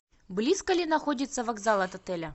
близко ли находится вокзал от отеля